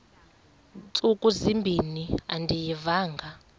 ntsuku zimbin andiyivanga